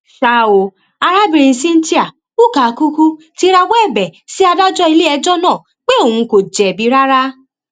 ṣá o arábìnrin cynthia ukakukwu ti rawọ ẹbẹ sí adájọ iléẹjọ náà pé òun kò jẹbi rárá